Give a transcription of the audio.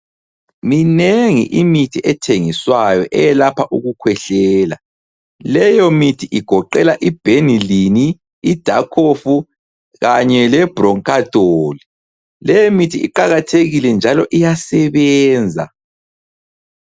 Minengi imithi ethengiswayo eyelapha ukukhwehlela. Leyo mithi igoqela iBenylin ,iDacof Kanye leBroncathiol. Leyo mithi iqakathekile njalo iyasebenza.